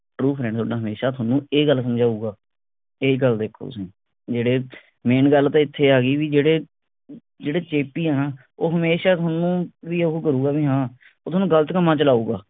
truefriend ਓਦਾਂ ਹਮੇਸ਼ਾ ਤੁਹਾਨੂੰ ਇਹ ਗੱਲ ਸਮਝਾਉਗਾ ਇਹ ਗੱਲ ਵੇਖੋ ਤੁਸੀ ਜਿਹੜੇ main ਗੱਲ ਤਾਂ ਇਥੇ ਆ ਗਈ ਬਈ ਜਿਹੜੇ ਜਿਹੜੇ ਚੇਪੀ ਆ ਨਾ ਉਹ ਹਮੇਸ਼ਾ ਤੁਹਾਨੂੰ ਵੀ ਓਹੂ ਕਰੂੰਗਾ ਬਈ ਹਾਂ ਉਹ ਤੁਹਾਨੂੰ ਗਲਤ ਕੰਮਾਂ ਵਿੱਚ ਲਊਂਗਾ